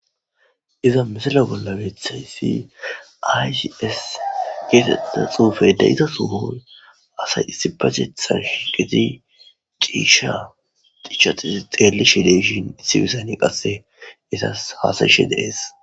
iza misala bollabeethayssi aycis geetetta xuufeyda izasuhoy asay issibatethan shi geti ciisha dichaxi xeelishi deishin issibisani qasse itas hasayishe deees